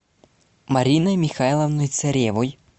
мариной михайловной царевой